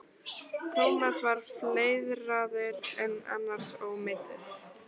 Thomas var fleiðraður en annars ómeiddur.